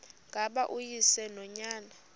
ngaba uyise nonyana